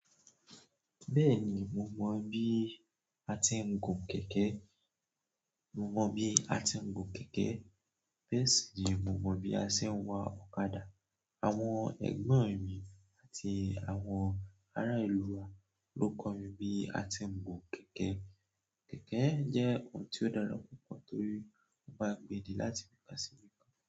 Bẹ́ẹ̀ni, mo mọ bí a ti ń gun kẹ̀kẹ́. Mo mọ bí a ti ń gun kẹ̀kẹ́. Bẹ́ẹ̀ sì ni mo mọ bí a ṣe ń wa ọ̀kadà. Àwọn ẹ̀gbọ́n mi àti àwọn ará ìlú wa ló kọ́ mi bí a ti ń gun kẹ̀kẹ́. Kẹ̀kẹ́ jẹ́ ohun tí ó dára púpọ̀ torí ó máa ń gbé di láti ibi ká sí.